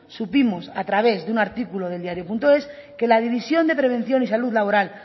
supimos a través de un artículo del diarioes que la división de prevención y salud laboral